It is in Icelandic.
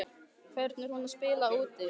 Hvernig er hún að spila úti?